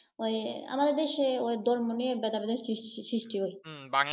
ওই আমাদের দেশে ওই ধর্ম নিয়ে ভেদাভেদের সৃষ্টি হয়